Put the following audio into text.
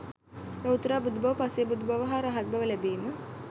ලොවුතුරා බුදුබව, පසේ බුදුබව හා රහත්බව ලැබීම